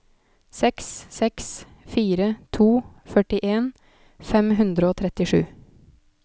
seks seks fire to førtien fem hundre og trettisju